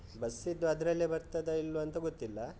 bus ದ್ದು ಅದ್ರಲ್ಲೆ ಬರ್ತದ ಇಲ್ವ, ಅಂತ ಗೊತ್ತಿಲ್ಲ.